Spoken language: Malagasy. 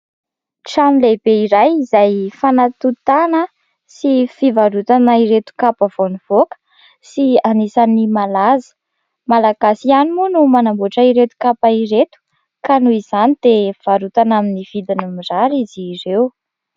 Trano lehibe iray, izay fanatontana sy fivarotana ireto kapa vao nivoaka sy anisan'ny malaza. Malagasy ihany moa no manamboatra ireto kapa ireto; ka noho izany dia varotana amin'ny vidiny mirary izy ireo.